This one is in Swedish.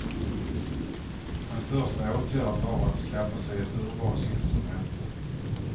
En första åtgärd var att skaffa sig ett urvalsinstrument.